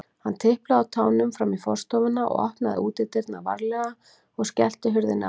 Hann tiplaði á tánum fram í forstofuna, opnaði útidyrnar varlega og skellti hurðinni aftur.